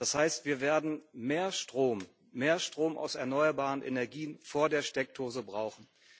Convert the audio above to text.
Das heißt, wir werden mehr Strom, mehr Strom aus erneuerbaren Energien vor der Steckdose brauchen.